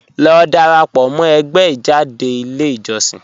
Lọ dárápọ̀ mọ̀ ẹ̀gbẹ́ ijádẹ̀ ilẹ̀ ijọ̀ṣìn